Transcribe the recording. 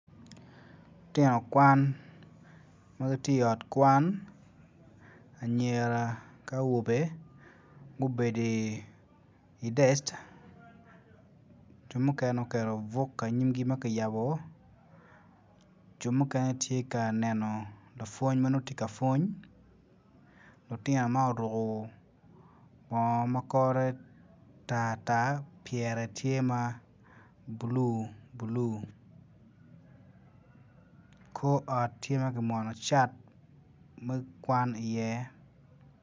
Lution kwan ma giti i ot kwan anyera ki awobe gubedi idec jo mukene oketo buk inyimgi ma ki yabo jo mukene tye ka neno lapwony ma nongo tye ka pwony lutino man oruku bongo ma kore tar tar pyere tye ma bulu bulu kor ot tye ma ki mono cat me kwan iye